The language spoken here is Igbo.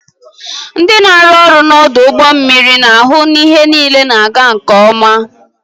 Ndị na-arụ ọrụ n'ọdụ ụgbọ mmiri na-ahụ na ihe niile na-aga nke ọma.